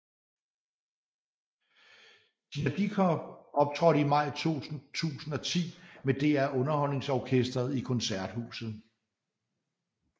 Tina Dickow optrådte i maj 2010 med DR UnderholdningsOrkestret i Koncerthuset